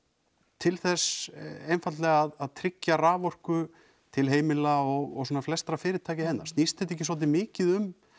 til þess einfaldlega að tryggja raforku til heimila og svona flestra fyrirtækja hérna snýst þetta ekki svolítið mikið um